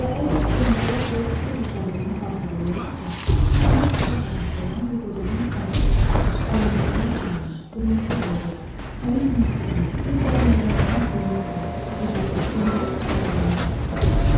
Və əgər sonralar o öz uşaqlığını xatırlayırdısa, məhz xaç atası olan bu qocanın sakit, alaqaranlıq otağını, qırmızı alovu, həmin o musiqini, bir də mələklərin sevincli, qızılı, sehirli titrəmələrini xatırlayırdı.